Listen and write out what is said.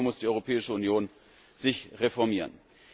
Ich glaube, hier muss die Europäische Union sich reformieren.